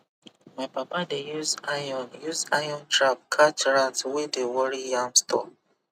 my papa dey use iron use iron trap catch rat wey dey worry yam store